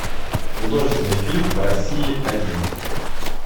художественный фильм по россии один